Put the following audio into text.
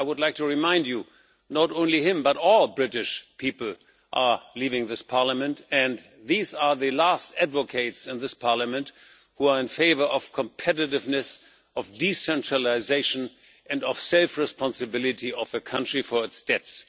I would like to remind you not only him, but all British people are leaving this Parliament, and these are the last advocates in this Parliament who are in favour of competitiveness, of decentralisation and of self responsibility of a country for its debts.